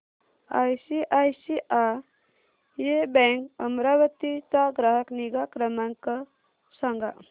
ICICI bank Amravati चा ग्राहक निगा क्रमांक सांगा